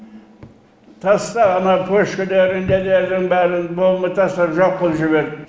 таста ана пөшкілердің нелердің бәрін бомба тастап жоқ қылып жібер